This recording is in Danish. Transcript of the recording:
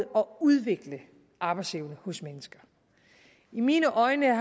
udvikle arbejdsevne hos mennesker i mine øjne er